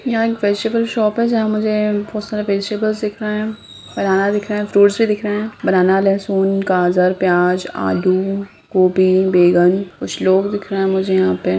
यहाँ एक vegetable shop है जहाँ मुझे बहुत सारे वेजिटेबल दिख रहें हैं बनाना दिख रहें हैं फ्रूट्स भी दिख रहें हैं बनाना लहसुन गाजर प्याज आलू गोबी बेेंगन कुछ लोग दिख रहें हैं मुझे यहाँ पे।